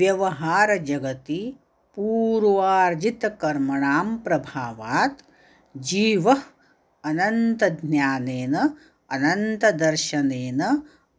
व्यवहारजगति पूर्वार्जितकर्मणां प्रभावात् जीवः अनन्तज्ञानेन अनन्तदर्शनेन